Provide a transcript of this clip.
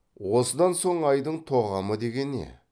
осыдан соң айдың тоғамы деген не